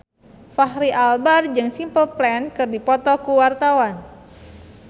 Fachri Albar jeung Simple Plan keur dipoto ku wartawan